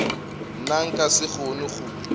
nna nka se kgone go